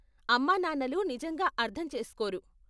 అమ్మ నాన్నలు నిజంగా అర్ధం చేస్కోరు.